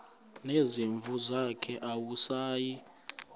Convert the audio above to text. nezimvu zakhe awusayi